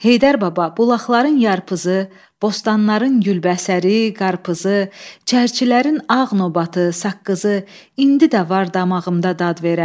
Heydər Baba, bulaqların yarpızı, bostanların gülbəsəri, qarpızı, çərçilərin ağ nobatı, saqqızı indi də var damağımda dad verər.